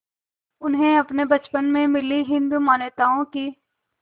उन्हें अपने बचपन में मिली हिंदू मान्यताओं की